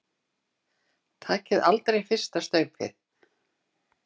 Takið aldrei fyrsta staupið!